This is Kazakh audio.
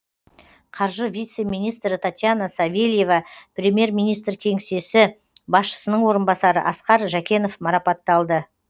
қаржы вице министрі татьяна савельева премьер министр кеңсесі басшысының орынбасары асқар жәкенов марапатталды